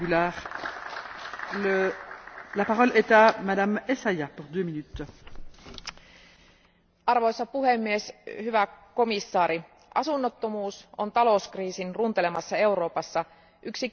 Arvoisa puhemies, hyvä komission jäsen, asunnottomuus on talouskriisin runtelemassa Euroopassa yksi kipeimpiä haasteita, ja siihen liittyy usein moniulotteisia sosiaali ja terveysongelmia.